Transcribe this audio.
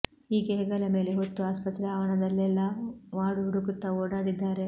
ಹೀಗೆ ಹೆಗಲ ಮೇಲೆ ಹೊತ್ತು ಆಸ್ಪತ್ರೆ ಆವರಣದಲ್ಲೆಲ್ಲಾ ವಾರ್ಡ್ ಹುಡುಕುತ್ತಾ ಓಡಾಡಿದ್ದಾರೆ